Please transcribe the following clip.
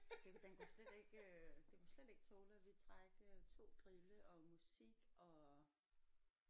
Den kunne den kunne slet ikke øh den kunne slet ikke tåle at vi trak øh 2 grille og musik og